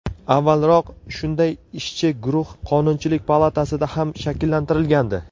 Avvalroq shunday ishchi guruh Qonunchilik palatasida ham shakllantirilgandi .